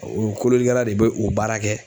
O kololikɛla de bɛ o baara kɛ.